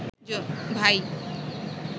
ভাই